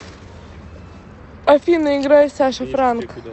афина играй саша франк